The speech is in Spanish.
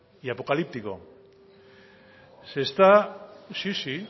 y apocalíptico se está sí